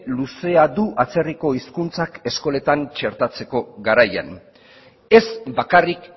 luzea du atzerriko hizkuntzak eskoletan txertatzeko garaian ez bakarrik